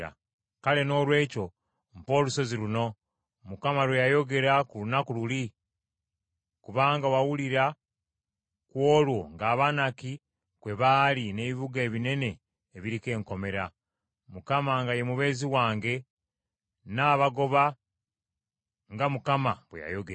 Kale noolwekyo mpa olusozi luno, Mukama lwe yayogera ku lunaku luli, kubanga wawulira ku olwo ng’Abanaki kwe baali n’ebibuga ebinene ebiriko enkomera. Mukama nga ye mubeezi wange, nnaabagoba nga Mukama bwe yayogera.”